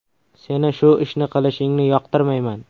Seni shu ishni qilishingni yoqtirmayman.